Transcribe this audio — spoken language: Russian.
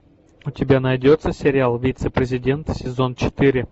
у тебя найдется сериал вице президент сезон четыре